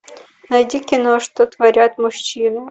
найти кино что творят мужчины